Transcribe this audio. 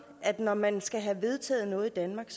at når man skal have vedtaget noget i danmark